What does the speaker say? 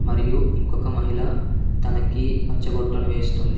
మరియు ఇంకొక మహిళ తనకి పచ్చబొట్టును వేస్తుంది.